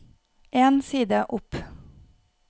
En side opp